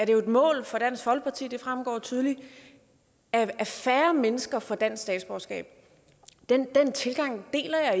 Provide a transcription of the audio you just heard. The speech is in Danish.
jo et mål for dansk folkeparti det fremgår tydeligt at færre mennesker får dansk statsborgerskab den tilgang deler